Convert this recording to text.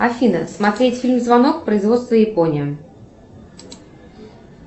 афина смотреть фильм звонок производства япония